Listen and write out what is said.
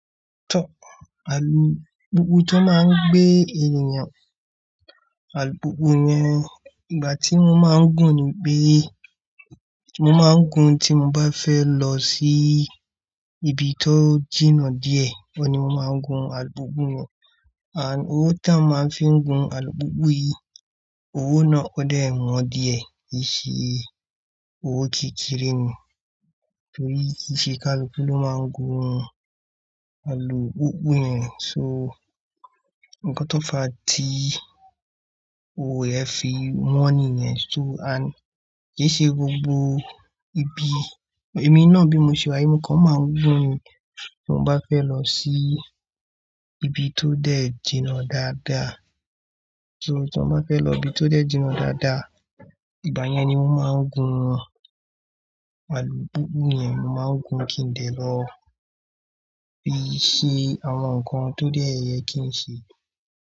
Tọ́, alùpùpù tó máa ń gbé ènìyàn, alùpùpù yẹn ìgbà tí mo máa ń gùn ni pé mo máa ń gùn tí mo bá fẹ́ lọ sí ibi tó jìnnà díẹ̀. Ó ni mo máa ń gun alùpùpù yẹn. And owó tí a máa ń fi ń gun alùpùpù yìí, owó náà ó dẹ̀ wọ́n díẹ̀. Kì í ṣe owó kékeré ni. Torí kì í ṣe kí alùpùpù ló máa ń gun alùpùpù yẹn. So, nǹkan tó fa tí owó ẹ fi wọn nìyẹn. So and kì í ṣe gbogbo ibi, èmi náà bí mo ṣe wà, èmi kan máa ń gùn ni tí mo bá fẹ́ lọ sí ibi tó dẹ̀ jìnnà dáadáa. So tí mo bá fẹ́ lọ ibi tó dẹ̀ jìnnà dáadáa, ìgbà yẹn ni mo máa ń gun alùpùpù yẹn. Mo máa ń gun kí n lè lọ fi ṣe àwọn nǹkan tó dẹ̀ yẹ kí n ṣe.